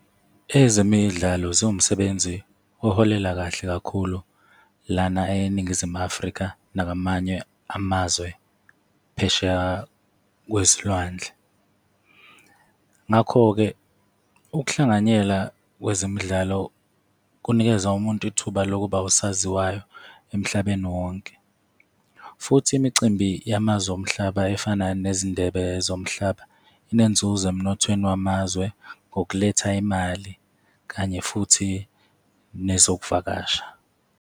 Ezemidlalo ziwumsebenzi oholela kahle kakhulu lana eNingizimu Afrika nakwamanye amazwe phesheya kwezilwandle. Ngakho-ke ukuhlanganyela kwezemidlalo kunikeza umuntu ithuba lokuba usaziwayo emhlabeni wonke. Futhi imicimbi yamazwe omhlaba efana nezindebe zomhlaba inenzuzo emnothweni wamazwe ngokuletha imali, kanye futhi nezokuvakasha.